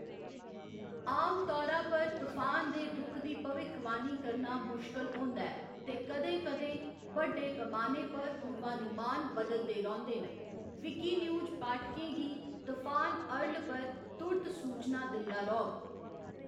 आमतौरा पर तफान दे रुख दी भविक्खवाणी करना मुश्कल होंदा ऐ ते कदें कदें बड्डे पमाने पर पूर्वानुमान बदलदे रौंह्‌‌‌दे न, विकीन्यूज पाठकें गी तफान अर्ल पर तुर्त सूचनां दिंदा रौह्‌‌‌ग।